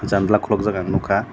janla kolok jak ang nogkha.